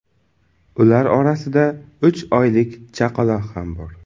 Ular orasida uch oylik chaqaloq ham bor.